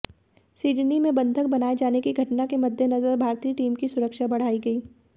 Sydney में बंधक बनाए जाने की घटना के मद्देनजर भारतीय टीम की सुरक्षा बढ़ाई गई